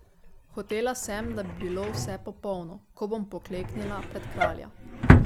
Hotela sem, da bi bilo vse popolno, ko bom pokleknila pred kralja.